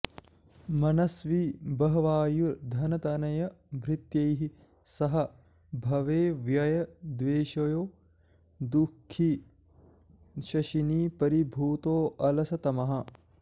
मनस्वी बह्वायुर्धनतनयभृत्यैः सह भवे व्यये द्वेष्यो दुह्खी शशिनि परिभूतोऽलसतमः